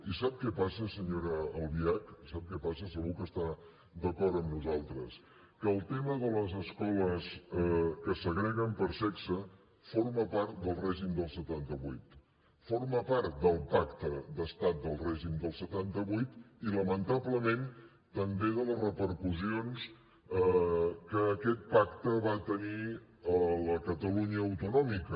i sap què passa senyora albiach sap què passa segur que està d’acord amb nosaltres que el tema de les escoles que segreguen per sexe forma part del règim del setanta vuit forma part del pacte d’estat del règim del setanta vuit i lamentablement també de les repercussions que aquest pacte va tenir a la catalunya autonòmica